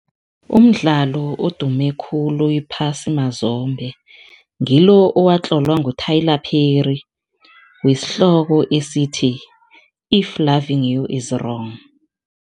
Umdlalo odume khulu iphasi mazombe ngilo owatlola ngu-Tyler Perry eesihloko esithi-If loving you is wrong.